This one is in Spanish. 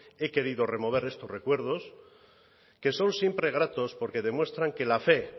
he querido remover estos recuerdos que son siempre gratos porque demuestran que la fe